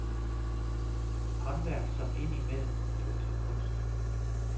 Håndværk som ind imellem bliver til kunst.